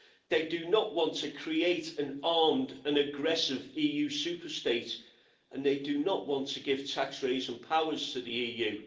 They do not want to create an armed and aggressive EU superstate and they do not want to give tax-raising powers to the EU.